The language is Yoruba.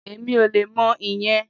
Èmi ò le mọ ìyẹn